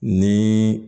Ni